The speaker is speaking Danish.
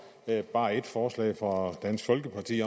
bare ét forslag fra dansk folkeparti